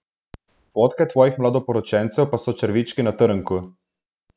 Fotke tvojih mladoporočencev pa so črvički na trnku.